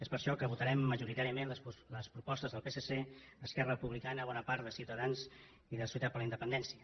és per això que votarem majoritàriament les propostes del psc esquerra republicana i bona part de les de ciutadans i de solidaritat per la independència